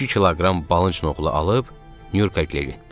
İki kiloqram balınç noğulu alıb Nyurkagilə getdim.